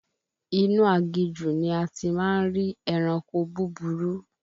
Inú aginjù ní a ti máa ń rí ẹranko búburú